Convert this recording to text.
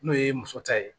N'o ye muso ta ye